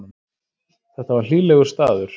Þetta var hlýlegur staður.